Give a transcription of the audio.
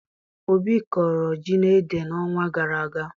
Obi kọrọ ji na ede n'ọnwa gara aga